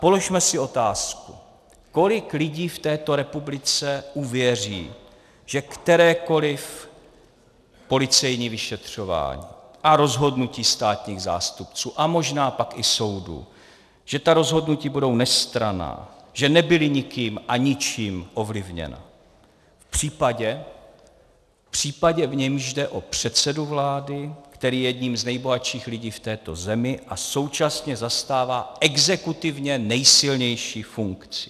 Položme si otázku, kolik lidí v této republice uvěří, že kterékoliv policejní vyšetřování a rozhodnutí státních zástupců a možná pak i soudů, že ta rozhodnutí budou nestranná, že nebyla nikým a ničím ovlivněna v případě, v němž jde o předsedu vlády, který je jedním z nejbohatších lidí v této zemi a současně zastává exekutivně nejsilnější funkci.